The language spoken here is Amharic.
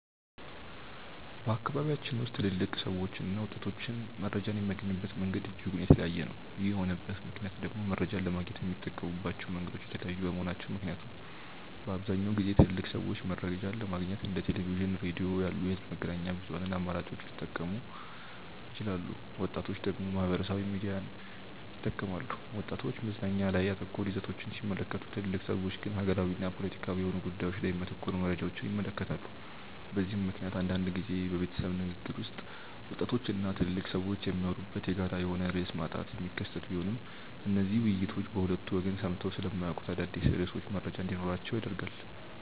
በአካባቢያችን ውስጥ ትልልቅ ሰዎችና ወጣቶች መረጃን የሚያገኙበት መንገድ እጅጉን የተለያየ ነው። ይህ የሆነበት ምክንያት ደግሞ መረጃን ለማግኘት የሚጠቀሙባቸው መንገዶች የተለያዩ በመሆናቸው ምክንያት ነው። በአብዛኛውን ጊዜ ትልልቅ ሰዎች መረጃን ለማግኘት እንደ ቴሌቪዥን፣ ሬዲዮ ያሉ የህዝብ መገናኛ ብዙሃን አማራጮችን ሲጠቀሙ ወጣቶች ደግሞ ማህበራዊ ሚዲያን ይጠቀማሉ። ወጣቶች መዝናኛ ላይ ያተኮሩ ይዘቶችን ሲመለከቱ ትልልቅ ሰዎች ግን ሀገራዊና ፖለቲካዊ የሆኑ ጉዳዮች ላይ የሚያተኩሩ መረጃዎችን ይመለከታሉ። በዚህ ምክንያት አንዳንድ ጊዜ በቤተሰብ ንግግር ውስጥ ወጣቶች እና ትልልቅ ሰዎች የሚያወሩበት የጋራ የሆነ ርዕስ ማጣት የሚከሰት ቢሆንም እነዚህ ውይይቶች በሁለቱ ወገን ሰምተው ስለማያውቁት አዳዲስ ርዕሶች መረጃ እንዲኖራቸው ያደርጋል።